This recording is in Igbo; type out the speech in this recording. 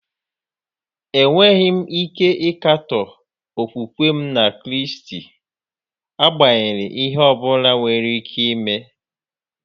Enweghị m ike ịkatọ okwukwe m na Kraịst, agbanyeghị ihe ọ bụla nwere ike ime.